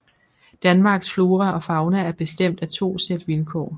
Danmarks flora og fauna er bestemt af to sæt vilkår